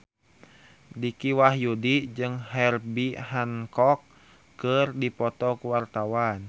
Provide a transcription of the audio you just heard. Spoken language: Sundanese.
Dicky Wahyudi jeung Herbie Hancock keur dipoto ku wartawan